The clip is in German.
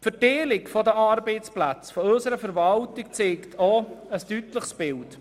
Die Verteilung der Arbeitsplätze unserer Verwaltung zeigt auch ein deutliches Bild.